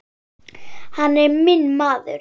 Hann er minn maður.